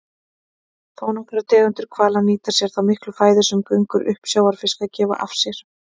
Þónokkrar tegundir hvala nýta sér þá miklu fæðu sem göngur uppsjávarfiska gefa af sér.